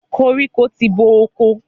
Koríko ti bo oko.